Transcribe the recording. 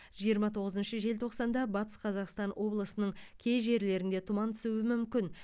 жиырма тоғызыншы желтоқсанда батыс қазақстан облысының кей жерлерінде тұман түсуі мүмкін